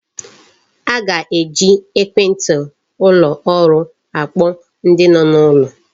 A ga-eji ekwenti ụlọ ọrụ akpọ ndi no n'ulo.